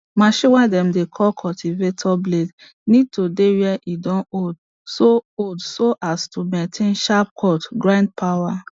machine way dem dey call cultivator blade need to dey when e don old so old so as to maintain sharp cut ground power